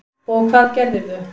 Og hvað gerðirðu?